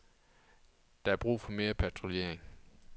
Der er brug for mere patruljering.